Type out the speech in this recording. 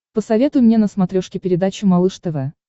посоветуй мне на смотрешке передачу малыш тв